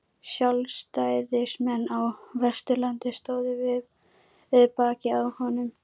Sjálfstæðismenn á Vesturlandi stóðu við bakið á honum.